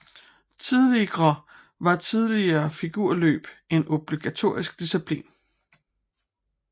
Tidligre var tillige figurløb en obligatorisk disciplin